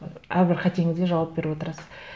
әрбір қатеңізге жауап беріп отырасыз